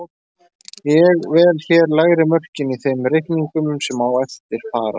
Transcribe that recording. Ég vel hér lægri mörkin í þeim reikningum sem á eftir fara.